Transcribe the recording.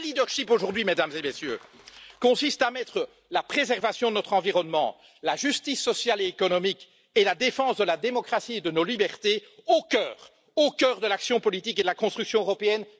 Le vrai leadership aujourd'hui, Mesdames et Messieurs, consiste à mettre la préservation de notre environnement, la justice sociale et économique et la défense de la démocratie et de nos libertés au cœur de l'action politique et de la construction européenne.